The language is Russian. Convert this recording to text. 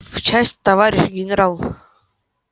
в часть товарищ генерал